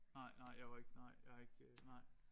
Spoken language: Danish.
Nej nej jeg var ikke nej jeg ikke øh nej